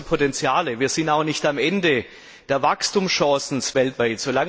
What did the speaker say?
Wir haben große Potenziale, wir sind auch nicht am Ende der Wachstumschancen weltweit.